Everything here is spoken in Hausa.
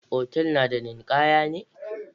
Otal na da ninkaya ne?